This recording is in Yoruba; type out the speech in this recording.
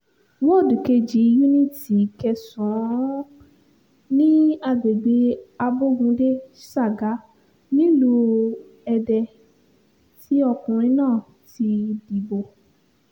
wọ́ọ̀dù kejì yuniiti kẹsàn-án ní agbègbè abogunde saga nílùú èdè tí ọkùnrin náà ti dìbò